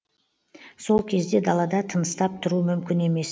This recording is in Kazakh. сол кезде далада тыныстап тұру мүмкін емес